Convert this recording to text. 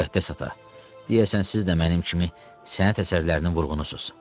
Müqəddəs ata, deyəsən siz də mənim kimi sənət əsərlərinin vurğunusuz.